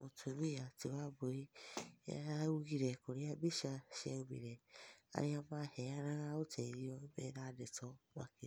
Mũtũmĩa tĩ Wambũi nĩaraũgĩre kũrĩa mbĩcha cĩaũmĩre, arĩa maheyanaga ũteĩthĩo mena ndeto makĩrĩa